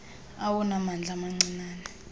awona mandla mancinane